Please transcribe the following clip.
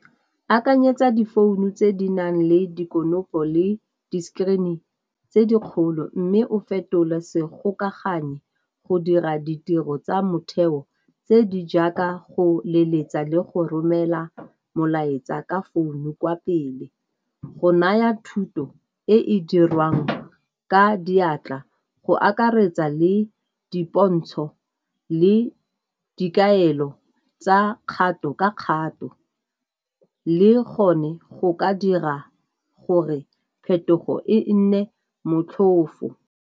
Akanyetsa difounu tse di nang le dikonokono le di-screen tse di kgolo mme o fetola segokaganyi go dira ditiro tsa motheo tse di jaaka go leletsa le go romela molaetsa ka founu kwa pele. Go naya thuto e e dirwang ka diatla go akaretsa le dipontsho le dikaelo tsa kgato ka kgato, le gone go ka dira gore phetogo e nne motlhofo.